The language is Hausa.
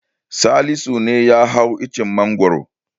Salisu ne ya hau icen Mangwaro.